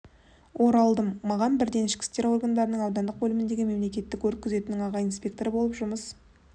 оралдым маған бірден ішкі істер органдарының аудандық бөліміндегі мемлекеттік өрт күзетінің аға инспекторы болып жұмыс